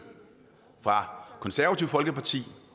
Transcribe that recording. fra det konservative folkeparti